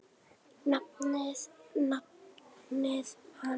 nafni hans.